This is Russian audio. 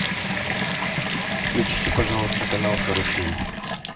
включите пожалуйста канал карусель